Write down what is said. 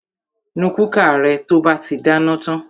Nu kúkà rẹ to bá ti dáná tan!